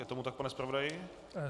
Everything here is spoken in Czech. Je tomu tak, pane zpravodaji?